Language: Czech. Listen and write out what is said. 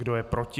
Kdo je proti?